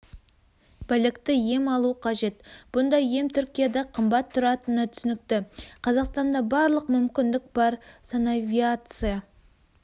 білікті ем алу қажет бұндай ем түркияда қымбат тұратыны түсінікті қазақстанда барлық мүмкіндік бар санавиация